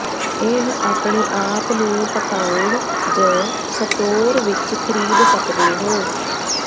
ਇਹ ਆਪਣੇ ਆਪ ਨੂੰ ਪਕਾਉਣ ਜ ਸਟੋਰ ਵਿੱਚ ਖਰੀਦ ਸਕਦੇ ਹੋ